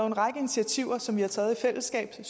en række initiativer som vi har taget i fællesskab